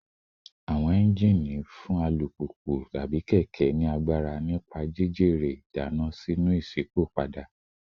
Awọn engine agbara alupupu / keke nipa jijere idana sinu išipopada